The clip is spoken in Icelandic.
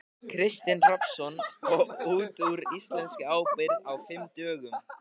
Kristinn Hrafnsson: Og út úr íslenskri ábyrgð á fimm dögum?